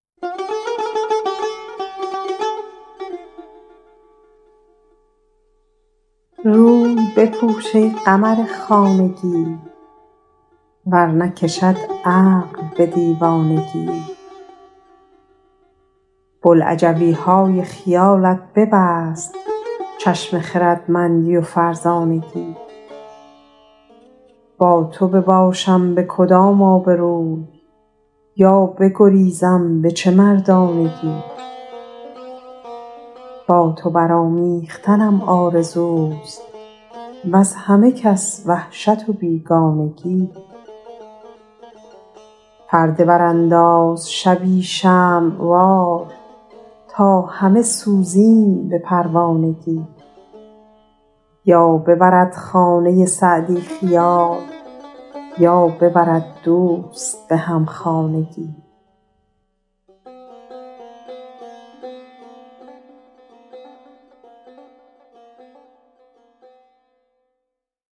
روی بپوش ای قمر خانگی تا نکشد عقل به دیوانگی بلعجبی های خیالت ببست چشم خردمندی و فرزانگی با تو بباشم به کدام آبروی یا بگریزم به چه مردانگی با تو برآمیختنم آرزوست وز همه کس وحشت و بیگانگی پرده برانداز شبی شمع وار تا همه سوزیم به پروانگی یا ببرد خانه سعدی خیال یا ببرد دوست به همخانگی